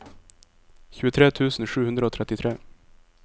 tjuetre tusen sju hundre og trettitre